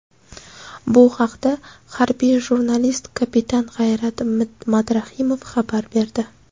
Bu haqda harbiy jurnalist kapitan G‘ayrat Madrahimov xabar berdi.